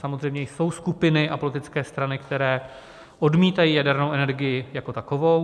Samozřejmě jsou skupiny a politické strany, které odmítají jadernou energii jako takovou.